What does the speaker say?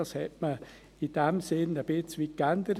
Man hat es in diesem Sinn ein Stück weit geändert.